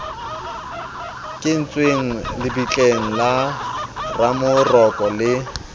kentsweng lebitleng la ramoroko le